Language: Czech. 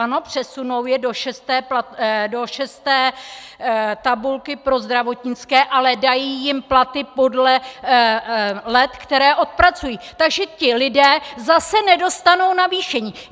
Ano, přesunou je do šesté tabulky pro zdravotnické, ale dají jim platy podle let, která odpracují, takže ti lidé zase nedostanou navýšení.